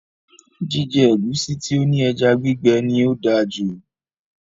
Jíjẹ ẹ̀gúsí tí ó ní ẹja gbígbẹ ní o dáa jù